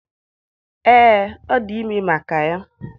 Ee, ọ dị ime maka ya